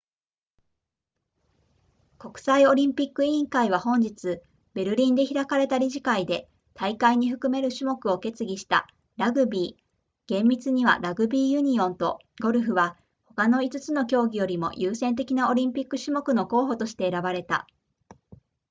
国際オリンピック委員会は本日ベルリンで開かれた理事会で大会に含める種目を決議したラグビー厳密にはラグビーユニオンとゴルフは他の5つの競技よりも優先的なオリンピック種目の候補として選ばれた